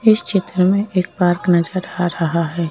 इस चित्र में एक पार्क आ रहा है।